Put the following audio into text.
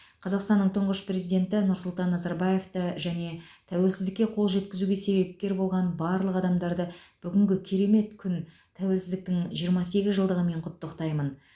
қазақстанның тұңғыш президенті нұрсұлтан назарбаевты және тәуелсіздікке қол жеткізуге себепкер болған барлық адамдарды бүгінгі керемет күн тәуелсіздіктің жиырма сегіз жылдығымен құттықтаймын